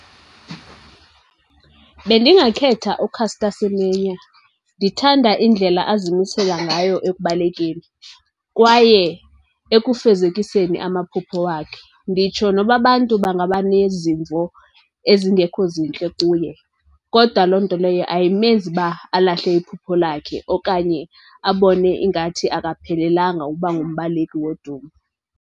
Bendingakhetha uCaster Semenya. Ndithanda indlela azimisela ngayo ekubalekeni kwaye ekufezekiseni amaphupho wakhe. Nditsho noba abantu bangaba nezimvo ezingekho zintle kuye kodwa loo nto leyo ayimenzi uba alahle iphupho lakhe okanye abone ingathi akaphelelanga ukuba ngumbaleki wodumo.